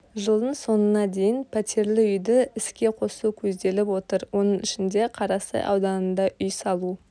жылдың соңына дейін пәтерлі үйді іске қосу көзделіп отыр оның ішінде қарасай ауданында үй салу